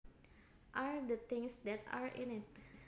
are the things that are in it